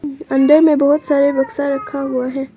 अंदर में बहोत सारे बक्सा रखा हुआ है।